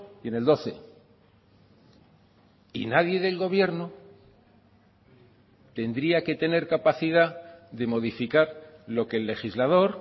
y en el doce y nadie del gobierno tendría que tener capacidad de modificar lo que el legislador